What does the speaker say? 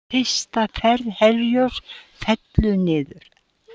Fyrsta ferð Herjólfs fellur niður